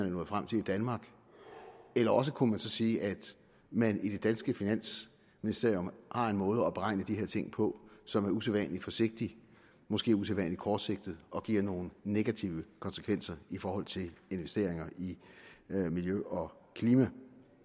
nået frem til i danmark eller også kunne man sige at man i det danske finansministerium har en måde at beregne de her ting på som er usædvanlig forsigtig måske usædvanlig kortsigtet og som giver nogle negative konsekvenser i forhold til investeringer i miljø og klima